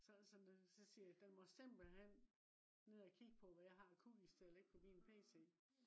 så så så siger jeg den må simpelthen ned og kigge på hvad jeg har af cookies på min pc